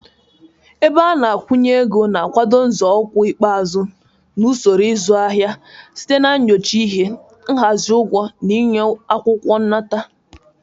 Ebe ana-akwụnyeego na-akwado nzọụkwụ ikpeazụ na usoro ịzụ ahịa site na nyocha ihe, nhazi ugwo, na ịnye akwukwo nnata.